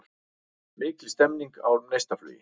Mikil stemming á Neistaflugi